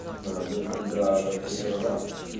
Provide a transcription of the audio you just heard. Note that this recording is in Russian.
не знаю даже когда тут это да